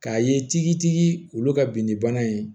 K'a ye tigitigi olu ka binni bana ye